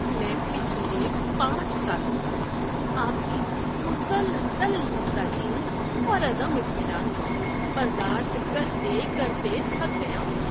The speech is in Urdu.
میں پچھلے پانچ سالوں سے آپ کی مسلسل نکتہ چینی اور عدم اطمینان کو برداشت کرتے کرتے تھک گیا ہوں۔